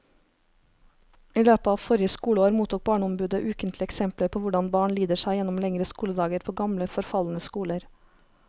I løpet av forrige skoleår mottok barneombudet ukentlig eksempler på hvordan barn lider seg gjennom lengre skoledager på gamle, forfalne skoler.